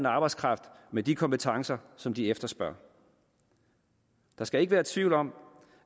arbejdskraft med de kompetencer som de efterspørger der skal ikke være tvivl om